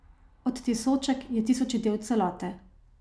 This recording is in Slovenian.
Odtisoček je tisoči del celote.